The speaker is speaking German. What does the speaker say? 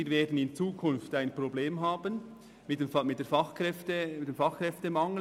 Wir werden in Zukunft ein Problem mit dem Fachkräftemangel haben.